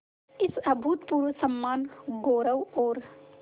इस अभूतपूर्व सम्मानगौरव और